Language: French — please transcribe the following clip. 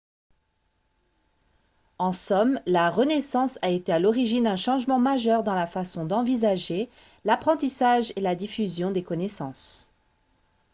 en somme la renaissance a été à l'origine d'un changement majeur dans la façon d'envisager l'apprentissage et la diffusion des connaissances